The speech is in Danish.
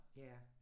Ja